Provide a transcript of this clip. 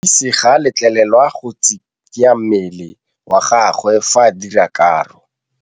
Modise ga a letlelelwa go tshikinya mmele wa gagwe fa ba dira karô.